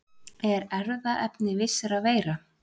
Er erfðaefni vissra veira.